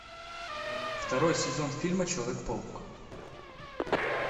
второй сезон фильма человек паук